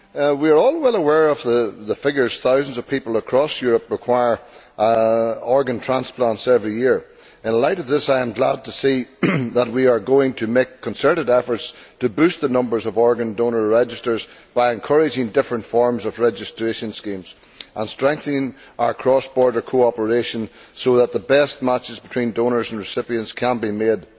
We are all well aware of the figures thousands of people across Europe require organ transplants every year. In light of this, I am glad to see that we are going to make concerted efforts to boost the numbers of organ donor registers by encouraging different forms of registration schemes and strengthening our cross border cooperation so that the best matches between donors and recipients can be made.